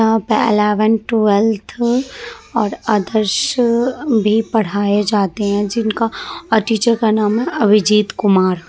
यहाँ पे eleven twelfth अ और अधर्श अ भी पढ़ाए जाते है। जिनका अ टीचर का नाम है अभिजीत कुमार।